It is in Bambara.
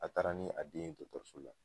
A taara ni a den ye dɔkɔtɔrɔso la